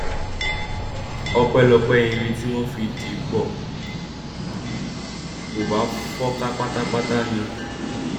ọpẹlọpẹ irin tí wọn fi dì í pọ kò bá fọn ká pátápátá ni